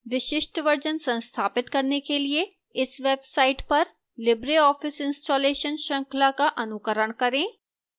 विशिष्ट version संस्थापित करने के लिए इस website पर libreoffice installation श्रृंखला का अनुकरण करें